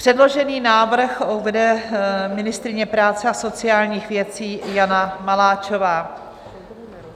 Předložený návrh uvede ministryně práce a sociálních věcí Jana Maláčová.